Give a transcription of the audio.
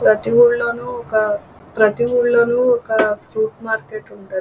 ప్రతి ఊర్లోను ప్రతి ఊర్లోను ఒక సూపర్ మార్కెట్ ఉంటది.